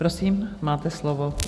Prosím, máte slovo.